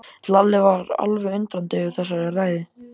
Lalli var alveg undrandi yfir þessari ræðu.